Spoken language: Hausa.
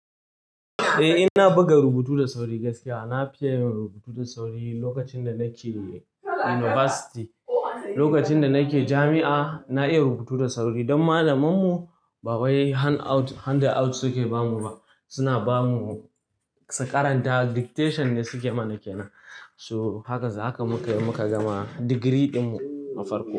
Eh, ina buga rubutu da sauri gaskiya. Na fi yin rubutu da sauri lokacin da nake university. Lokacin da nake jami'a, na iya rubutu da sauri don malamannanmu ba wai handout suke bamu ba. Suna bamu su karanta dictation ne suke mana kenan. So haka muka yi muka gama digiri dinmu nafarko.